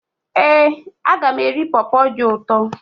Éè, aga m eri pọpọ dị ụtọ